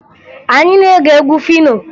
Anyị na-ege egwu Fino